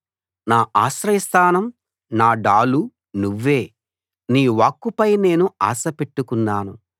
నా ఆశ్రయ స్థానం నా డాలు నువ్వే నీ వాక్కుపై నేను ఆశపెట్టుకున్నాను